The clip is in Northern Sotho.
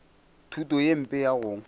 thuto ye mpe ya go